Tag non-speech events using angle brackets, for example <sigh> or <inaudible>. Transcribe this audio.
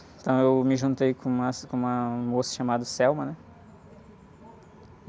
Então, eu me juntei com umas, com uma moça chamada, <unintelligible> né?